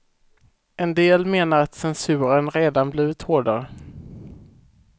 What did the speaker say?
En del menar att censuren redan blivit hårdare.